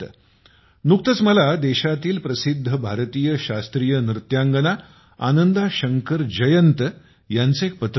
नुकतेच मला देशातील प्रसिद्ध भारतीय शास्त्रीय नृत्यांगना आनंदा शंकर जयंत यांचे एक पत्र मिळाले